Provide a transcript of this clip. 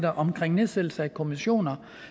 om nedsættelse af kommissioner